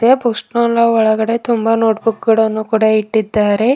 ಪುಷ್ಪೋಳ್ನ ಒಳಗಡೆ ತುಂಬಾ notebook ಕೂಡ ಇಟ್ಟಿದ್ದಾರೆ.